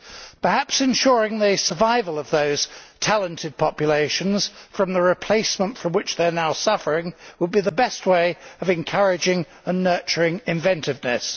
Perhaps ensuring the survival of those talented populations from the replacement from which they are now suffering would be the best way of encouraging and nurturing inventiveness.